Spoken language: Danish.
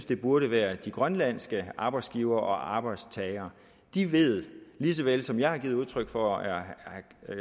det burde være de grønlandske arbejdsgivere og arbejdstagere de ved lige så vel som jeg har givet udtryk for og som herre